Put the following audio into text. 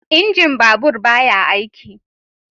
Injin babur ba ya aiki